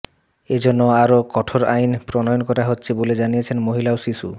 এজন্য আরও কঠোর আইন প্রণয়ন করা হচ্ছে বলে জানিয়েছেন মহিলা ও শিশু